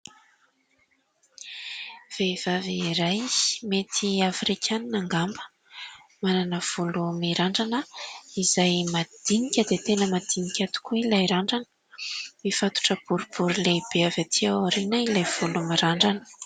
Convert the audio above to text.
Vehivavy iray, mety afrikanina angamba, manana volo mirandrana izay madinika dia tena madinika tokoa ilay randrana. Mifatotra boribory lehibe avy aty aoriana ilay volo mirandrana.